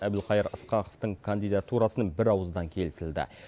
әбілқайыр ысқақовтың кандидатурасын бірауыздан келісілді